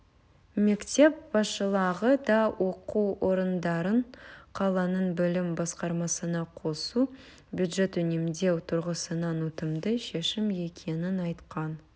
мектеп басшылығы да оқу орындарын қаланың білім басқармасына қосу бюджет үнемдеу тұрғысынан ұтымды шешім екенін айтқан